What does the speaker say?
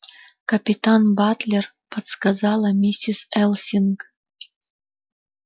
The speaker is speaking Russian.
капитан батлер подсказала миссис элсинг